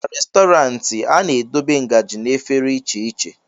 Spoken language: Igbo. na Restọrantị, a na-edobe ngaji na efere iche iche